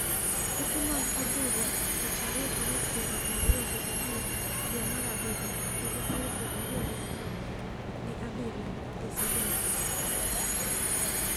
Tuke mag adhula Tich Ariyo tarik pier ariyo gi abich dwe mar abiriyo higa aluf ariyo gi apar gi abiriyo gi Salim Kikeke.